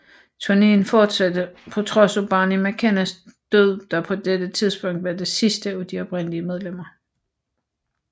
Turneen fortsatte på trods af Barney McKennas død der på dette tidspunkt var det sidste af de oprindelige medlemmer